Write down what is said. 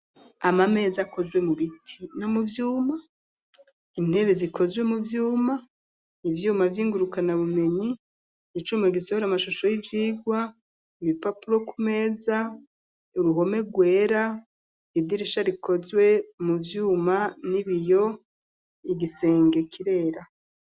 Amameza, akozwe mu biti, no mu vyuma; intebe, zikozwe mu vyuma, ivyuma vy'ingurukanabumenyi, icuma gisohora amashusho, y'ivyigwa; ibipapuro ku meza, uruhome rwera, idirisha, rikozwe mu vyuma n'ibiyo, igisenge kirera.